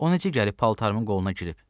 O necə gəlib paltarımın qoluna girib?